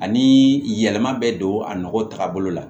Ani yɛlɛma bɛ don a nɔgɔ tagabolo la